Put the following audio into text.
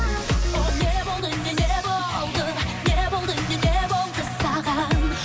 ол не болды не не болды не болды не не болды саған